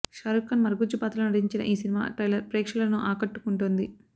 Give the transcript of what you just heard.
షారూఖ్ఖాన్ మరుగుజ్జు పాత్రలో నటించిన ఈ సినిమా ట్రైలర్ ప్రేక్షకులను ఆకట్టుకుంటోంది